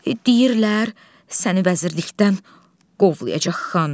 Deyirlər səni vəzirlikdən qovlayacaq xan.